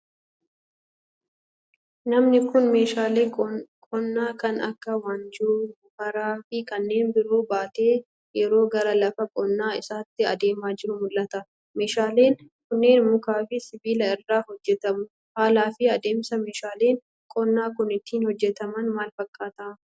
Namni kun, meeshaalee qonnaa kan akka : waanjoo, moofara, fi kanneen biroo baatee yeroo gara lafa qonnaa isaatti adeemaa jiru mul'ata. Meeshaaleen kunneen mukaa fi sibiila irraa hojjatamu. Haala fi adeemsi meeshaaleen qonnaa kun ittiin hojjataman maal fakkaata?